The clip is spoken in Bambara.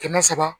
Kɛmɛ saba